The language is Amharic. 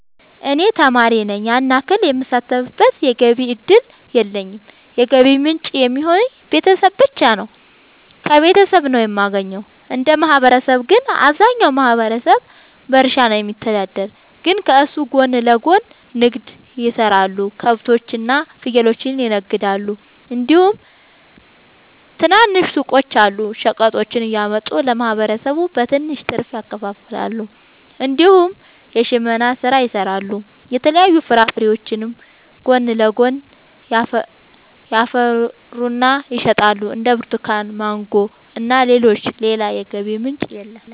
እኔ ተማሪ ነኝ ያን ያክል የምሳተፍበት የገቢ እድል የለኝም የገቢ ምንጭ የሚሆኑኝ ቤተሰብ ብቻ ነው። ከቤተሰብ ነው የማገኘው። እንደ ማህበረሰብ ግን አብዛኛው ማህበረሰብ በእርሻ ነው የሚተዳደር ግን ከሱ ጎን ለጎን ንግድ የሰራሉ ከብቶች እና ፍየሎችን ይነግዳሉ እንዲሁም ትናንሽ ሱቆች አሉ። ሸቀጦችን እያመጡ ለማህበረሰቡ በትንሽ ትርፍ ያከፋፍላሉ። እንዲሁም የሽመና ስራ ይሰራሉ የተለያዩ ፍራፍሬዎችንም ጎን ለጎን ያፈሩና ይሸጣሉ እንደ ብርቱካን ማንጎ እና ሌሎችም። ሌላ የገቢ ምንጭ የለም።